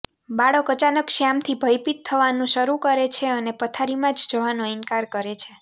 બાળક અચાનક શ્યામથી ભયભીત થવાનું શરૂ કરે છે અને પથારીમાં જવાનો ઇનકાર કરે છે